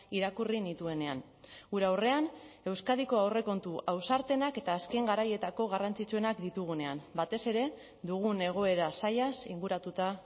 irakurri nituenean gure aurrean euskadiko aurrekontu ausartenak eta azken garaietako garrantzitsuenak ditugunean batez ere dugun egoera zailaz inguratuta